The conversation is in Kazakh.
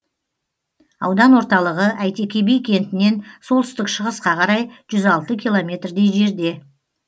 аудан орталығы әйтеке би кентінен солтүстік шығысқа қарай жүз алты километрдей жерде